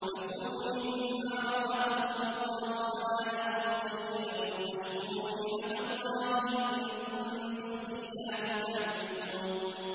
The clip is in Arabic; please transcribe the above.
فَكُلُوا مِمَّا رَزَقَكُمُ اللَّهُ حَلَالًا طَيِّبًا وَاشْكُرُوا نِعْمَتَ اللَّهِ إِن كُنتُمْ إِيَّاهُ تَعْبُدُونَ